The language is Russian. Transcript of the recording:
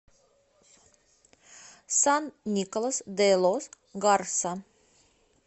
сан николас де лос гарса